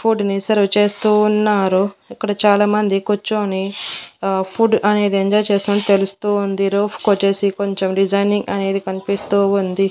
Food ని serve చేస్తూ ఉన్నారు ఇక్కడ చాలామంది కూర్చొని అహ్ ఫుడ్ అనేది ఎంజాయ్ చేస్తున్నట్టు తెలుస్తూ ఉంది రూఫ్ కొచ్చేసి కొంచెం డిజైనింగ్ అనేది కనిపిస్తూ ఉంది.